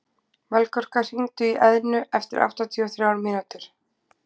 Melkorka, hringdu í Eðnu eftir áttatíu og þrjár mínútur.